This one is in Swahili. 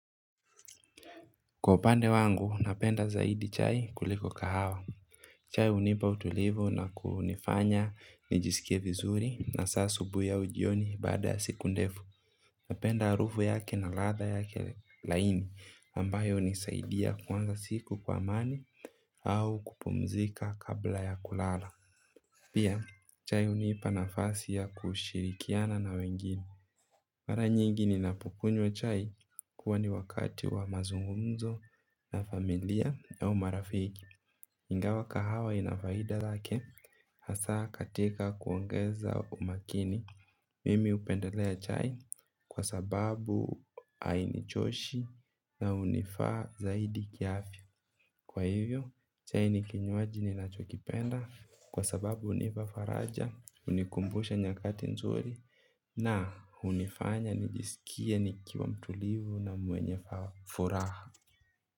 Kwa upande wangu napenda zaidi chai kuliko kahawa. Chai unipa utulivu na kunifanya nijisikie vizuri na asa asubuhi au jioni baada ya siku ndefu. Napenda harufu yake na latha yake laini ambayo unisaidia kuanza siku kwa amani. Au kupumzika kabla ya kulala. Pia chai unipa na fasi ya kushirikiana na wengine. Mara nyingi ninapokunywa chai huwa ni wakati wa mazungumzo na familia au marafiki. Ingawa kahawa ina faida yake hasa katika kuongeza umakini. Mimi upendelea chai kwa sababu haini choshi na unifaa zaidi kiafya. Kwa hivyo chai ni kinywaji ninachokipenda kwa sababu unipa faraja, unikumbusha nyakati nzuri. Na hunifanya nijisikie nikiwa mtulivu na mwenye furaha.